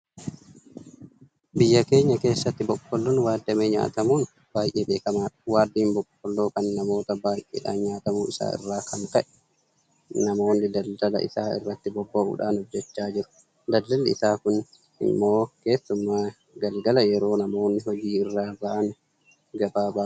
Biyya keenya keessatti Boqqoolloon waaddamee nyaatamuun baay'ee beekamaadha. Waaddiin Boqqoolloo kun namoota baay'eedhaan nyaatamuu isaa irraa kan ka'e namoonni daldala isaa irratti bobba'uudhaan hojjechaa jiru. Daldalli isaa kun immoo keessumaa galgala yeroo namoonni hojii irraa bahan ga'aa baay'ee ka'a.